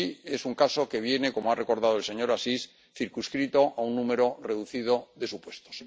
Es un caso que viene, como ha recordado el señor Assis, circunscrito a un número reducido de supuestos.